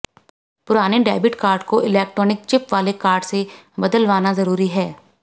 पुराने debit card को electronic chip वाले कार्ड से बदलवाना जरूरी है